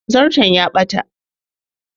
Zarton ta ɓata